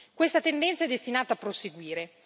Questa tendenza è destinata a proseguire.